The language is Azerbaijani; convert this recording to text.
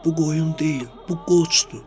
Bu qoyun deyil, bu qoçdur.